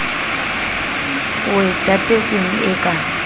o e tatetseng e ka